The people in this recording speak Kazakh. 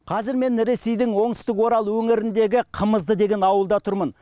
қазір мен ресейдің оңтүстік орал өңіріндегі қымызды деген ауылда тұрмын